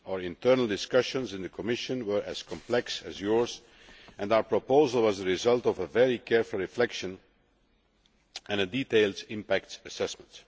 Our internal discussions in the Commission were as complex as yours, and our proposal was the result of very careful reflection and a detailed impact assessment.